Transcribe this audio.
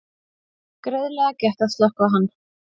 Greiðlega gekk að slökkva hann